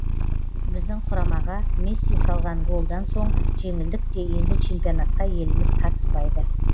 біздің құрамаға месси салған голдан соң жеңілдік те енді чемпионатқа еліміз қатыспайды